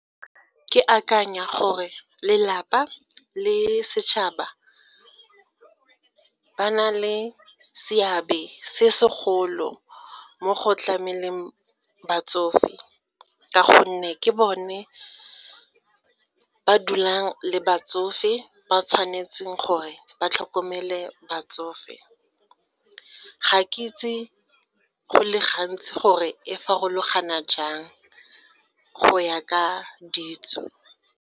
Ke akanya gore lelapa le setšhaba ba na le seabe se segolo mo go tlameleng batsofe ka gonne ke bone ba dulang le batsofe ba tshwanetseng gore ba tlhokomele batsofe. Ga ke itse go le gantsi gore e farologana jang go ya ka ditso.